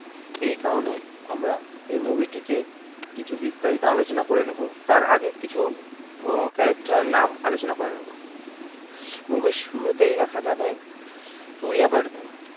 এই কারণে আমরা এই movie টিকে কিছু বিস্তারিত আলোচনা করে নেব তার আগে কিছু character এর নাম আলোচনা করে নেব movie র শুরুতেই দেখা যাবে সূরিয়া বর্ধন